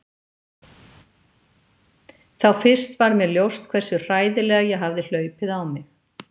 Þá fyrst varð mér ljóst hversu hræðilega ég hafði hlaupið á mig.